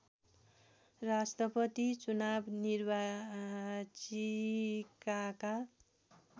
राष्‍ट्रपतिको चुनाव निर्वाचिकाका